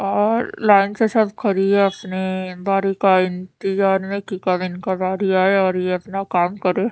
और लाइन्स के साथ खड़ी है अपने बारी का इंतजार में की कब इनकी बारी आए और ए अपना काम करे ।